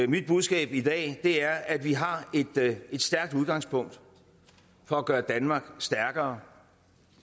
mit budskab i dag er at vi har et stærkt udgangspunkt for at gøre danmark stærkere